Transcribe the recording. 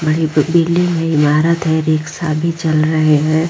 बड़ी बिल्डिंगे है इमारत है रिक्शा भी चल रहे है।